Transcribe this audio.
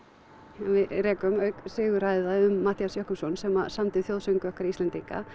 við rekum auk Sigurhæða um Matthías Jochumsson sem samdi þjóðsöng okkar Íslendinga